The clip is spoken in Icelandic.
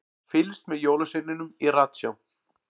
Fylgst með jólasveininum í ratsjá